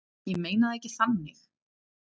Ég meina það ekki þannig.